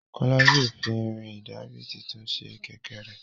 Kola yóò fí Irin ìdarí títún sí kẹ̀kẹ́ rẹ.